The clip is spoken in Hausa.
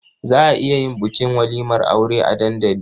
Za a iya yin bukin walimar aure a dandali.